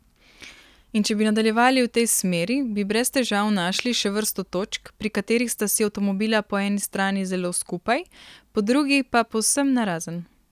In če bi nadaljevali v tej smeri, bi brez težav našli še vrsto točk, pri katerih sta si avtomobila po eni strani zelo skupaj, po drugi pa povsem narazen.